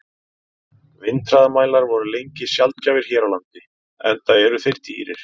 Vindhraðamælar voru lengi sjaldgæfir hér á landi, enda eru þeir dýrir.